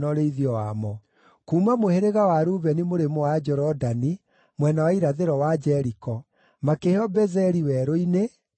kuuma mũhĩrĩga wa Rubeni mũrĩmo wa Jorodani mwena wa irathĩro wa Jeriko, makĩheo Bezeri werũ-inĩ, na Jahaza,